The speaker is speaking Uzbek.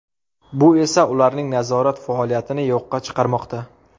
Bu esa ularning nazorat faoliyatini yo‘qqa chiqarmoqda.